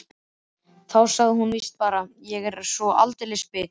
Þá sagði hún víst bara: Ég er svo aldeilis bit.